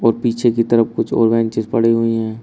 पीछे की तरफ कुछ ऑनलाइन चीज पड़ी हुई है।